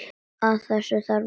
Þess þarf líka.